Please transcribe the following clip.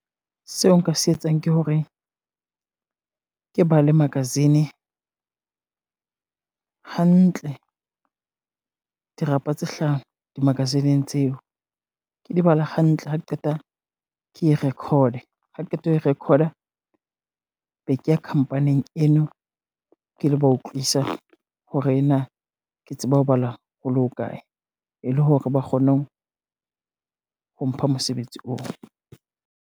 Seo nka se etsang ke hore, ke bale magazine hantle dirapa tse hlano di magazine-ng tseo, ke di bala hantle ha ke qeta ke e record-e ha qeta ho record-a, be ke ya company-ng eno ke lo ba utlwisa hore na ke tsebe ho bala hole ho kae, e le hore ba kgone ho ho mpha mosebetsi oo.